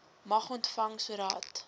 mag ontvang sodat